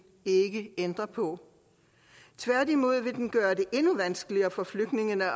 ikke ændre på tværtimod vil den gøre det endnu vanskeligere for flygtningene at